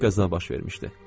Artıq qəza baş vermişdi.